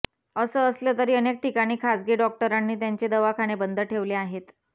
असं असलं तरी अनेक ठिकाणी खाजगी डॉक्टरांनी त्यांचे दवाखाने बंद ठेवले आहेत